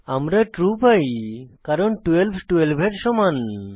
আমরা ট্রু পাই কারণ 12 12 এর সমান